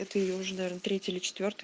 это её уже наверно третий или четвёртый